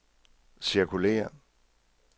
cirkulér